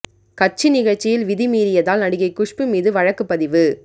கட்சி நிகழ்ச்சியில் விதி மீறியதால் நடிகை குஷ்பு மீது வழக்கு பதிவு